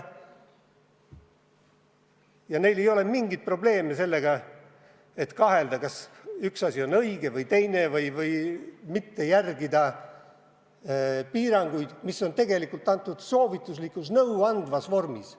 Ja neil ei ole mingit probleemi, nad ei kahtle, kas üks asi on õige või teine, kas ikka peaks järgima piiranguid, mis on tegelikult antud soovituslikus, nõuandvas vormis.